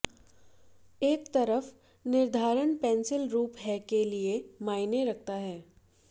एक तरफ निर्धारण पेंसिल रूप है के लिए मायने रखता है